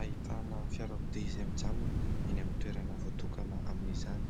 ahitana fiarakodia izay mijanona eny amin'ny toerana voatokana amin'izany.